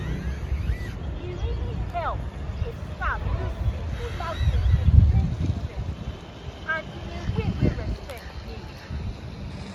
e really dey help if staff use simple language explain treatment um and way wey respect dey.